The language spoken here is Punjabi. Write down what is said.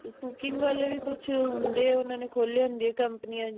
cooking ਵਾਲੇ ਵੀ ਕੁਛ ਹੋਂਦੇ ਹੈ ਓਹਨਾਂ ਨੇ ਖੋਲੇ ਹੋਂਦੇ ਹੈ ਕੰਪਨੀਆਂ ਵੀ